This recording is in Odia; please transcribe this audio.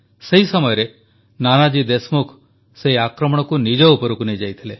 ସେହି ସମୟରେ ନାନାଜୀ ଦେଶମୁଖ ସେହି ଆକ୍ରମଣକୁ ନିଜ ଉପରକୁ ନେଇଯାଇଥିଲେ